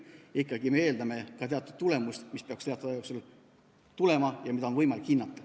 Me ikkagi eeldame ka teatud tulemust, mis peaks mingi aja jooksul tulema ja mida peaks olema võimalik hinnata.